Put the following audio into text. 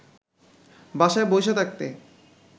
বাসায় বইসা থাকতে